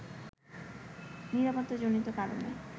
নিরাপত্তাজনিত কারণে